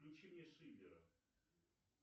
включи мне шиллера